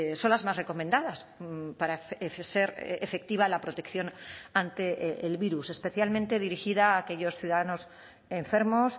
son las más recomendadas para ser efectiva la protección ante el virus especialmente dirigida a aquellos ciudadanos enfermos